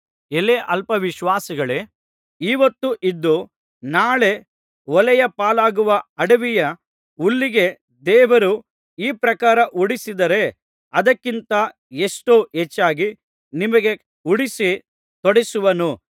ಎಲೈ ಅಲ್ಪ ವಿಶ್ವಾಸಿಗಳೇ ಈ ಹೊತ್ತು ಇದ್ದು ನಾಳೆ ಒಲೆಯ ಪಾಲಾಗುವ ಅಡವಿಯ ಹುಲ್ಲಿಗೆ ದೇವರು ಈ ಪ್ರಕಾರ ಉಡಿಸಿದರೆ ಅದಕ್ಕಿಂತ ಎಷ್ಟೋ ಹೆಚ್ಚಾಗಿ ನಿಮಗೆ ಉಡಿಸಿ ತೊಡಿಸುವನು